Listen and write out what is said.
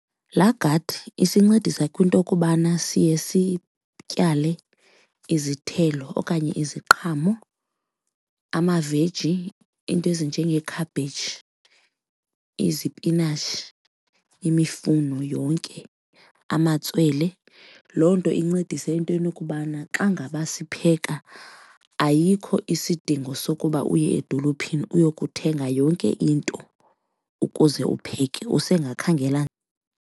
Laa gadi isincedisa kwinto okubana siye sityale izithelo okanye iziqhamo, amaveji iinto ezinjengee-cabbage, izipinatshi, imifuno yonke, amatswele. Loo nto incedise entweni ukubana xa ngaba sipheka ayikho isidingo sokuba uye edolophini uyokuthenga yonke into ukuze upheke, usengakhangela.